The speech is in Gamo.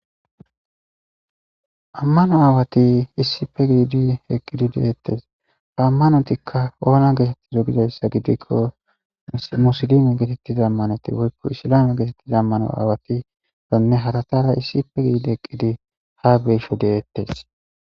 ammano aawati issife giidi eqqidi dehettes fa ammanotikka oona geetettizo gidayssa gidikko musilime geetettiza ammaneti woykko isilame geetettiza ammano aawatidanne haratara issipe giidi heqqidi ha be'sho de'ettes